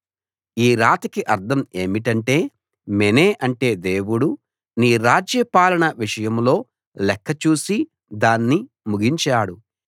ఈ రాతకి అర్థం ఏమిటంటే మెనే అంటే దేవుడు నీ రాజ్య పాలన విషయంలో లెక్క చూసి దాన్ని ముగించాడు